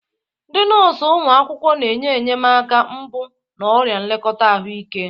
Ndị nọọsụ ụlọ akwụkwọ na-enye enyemaka mbụ na ọrụ nlekọta ahụike.